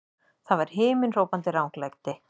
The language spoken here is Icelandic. Það var himinhrópandi ranglæti!